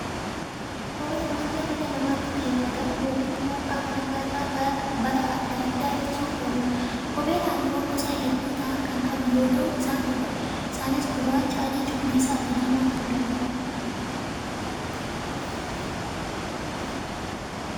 Kopheen waanta miila namaatti keewwatamu yookaan immoo qaama namaa irraa balaa addaa addaa ittisuuf ooluudha. Kopheen halluuwwan gosa hedduu ta'an kan qabu yoo ta'u, isaanis gurraacha, adii, cuquliisa fi diimaa ta'uu danda'a.